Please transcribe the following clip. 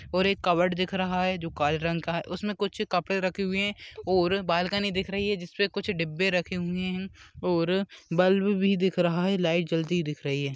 और एक कबाड़ दिख रहा है जो जो काले रंग का है उसमे कुछ कपड़े रखे हुए है और बालकनी दिख रही है जिसपे कुछ डिब्बे रखे है और बल्ब भी दिख रहा है लाइट जलती हुई दिख रही है।